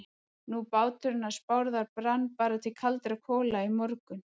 Nú, báturinn hans Bárðar brann bara til kaldra kola í morgun.